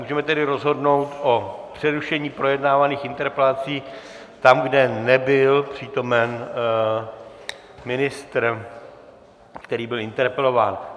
Můžeme tedy rozhodnout o přerušení projednávaných interpelací tam, kde nebyl přítomen ministr, který byl interpelován.